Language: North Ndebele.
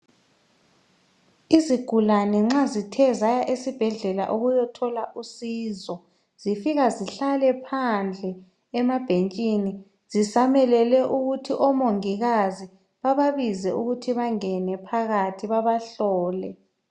Izigulane nxa zithe zaya esibhedlela ukuyothola usizo zifika zihlale phandle emabhentshini zisamelele ukuthi omongikazi bababize ukuthi bangene phakathi babahlole .